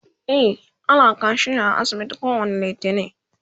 e ana kaciya a asibitin kowani littani